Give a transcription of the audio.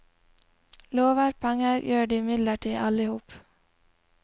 Lover penger gjør de imidlertid alle i hop.